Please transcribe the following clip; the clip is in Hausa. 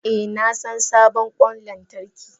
Eh nasan sabon kwan lantarki.